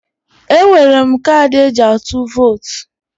Enwere m kaadị eji atụ votu